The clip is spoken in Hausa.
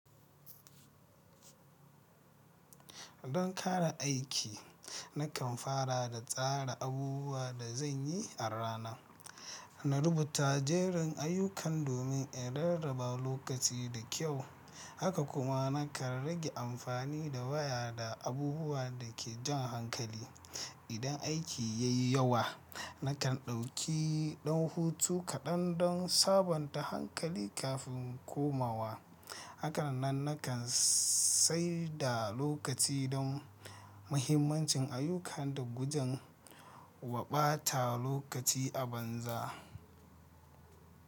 Don kare aiki, nakan fara da tsara abubuwan da zan yi a rana. Na rubuta jerin ayyukan domin in rarraba lokaci da kyau, haka kuma nakan rage amfani da waya da abubuwa da ke jan hankali. Idan aiki ya yi yawa, nakan ɗauki ɗan hutu kaɗan don sabonta hankali kafin komawa. Hakannan nakan saida lokaci don mahimmancin ayyukan da gujin wa ɓata lokaci a banza.